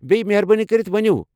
بییٚہِ، مہربٲنی کٔرِتھ وَنِو ۔